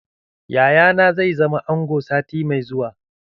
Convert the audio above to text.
Yaya na zai zama ango sati mai zuwa.